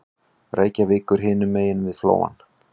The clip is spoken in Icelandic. Reykjavíkur hinum megin við Flóann.